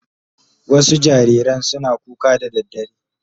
Wasu jariran suna kuka da daddare